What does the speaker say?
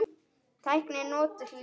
Tæknin notuð til njósna?